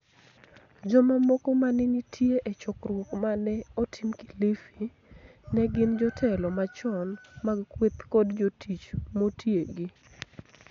Jomamoko ma ne nitie e chokruok ma ne otim Kilifi ne gin jotelo machon mag kweth kod jotich motiegi.